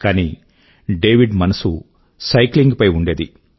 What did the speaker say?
కానీ డేవిడ్ మనసు సైకింగ్ పై ఉండేది